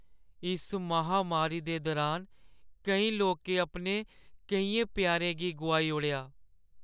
इस महामारी दे दुरान केईं लोकें अपने केइयें प्यारें गी गोआई ओड़ेआ।